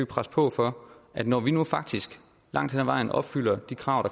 presse på for at når vi nu faktisk langt hen af vejen opfylder de krav